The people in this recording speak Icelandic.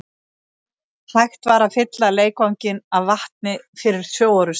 Hægt var að fylla leikvanginn af vatni fyrir sjóorrustur.